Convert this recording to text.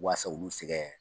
Waasa u bɛ se kɛ